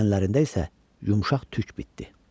Bədənlərində isə yumşaq tük bitdi.